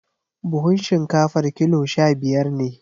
Buhun shinkafar kilo sha-biyar ne.